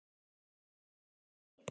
Eða svona næstum því.